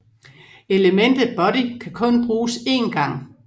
Elementet body kan kun bruges en gang